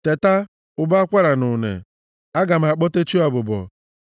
Teta! Ụbọ akwara na une! Aga m akpọte chi ọbụbọ.